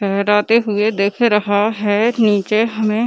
लहराते हुए दिख रहा है निचे हमें --